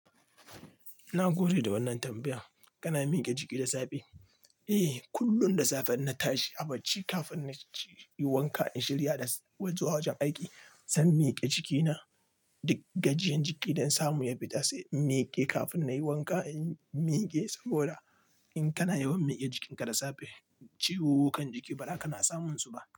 Na gode da wannan tambayan. Kana miƙe jiki da safe? Eh, kullum da safe ina tashi, a barci kafin na ci wanka in shirya da waje zuwa wajen aiki, zan miƙe jikina. Duk gajiyan jiki don samu ya bi ta sai in miƙe kafin na yi wanka in miƙe. Saboda in kana yawan miƙe jikinka da safe, ciwukan jiki baza ka na samun su ba.